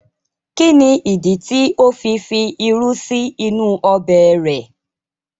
Kí ní ìdí tí ó fi fi irú sí inú ọbẹ̀ rẹ̀?